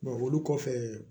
olu kɔfɛ